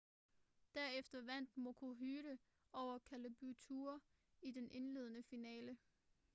derefter vandt maroochydore over caboolture i den indledende finale